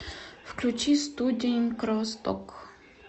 включи студень кровосток